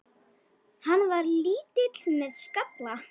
Hann var lítill með skalla.